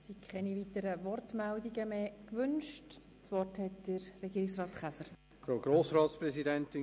Es haben sich keine weiteren Einzelsprecherinnen und Einzelsprecher gemeldet.